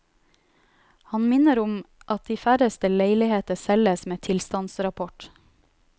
Han minner om at de færreste leiligheter selges med tilstandsrapport.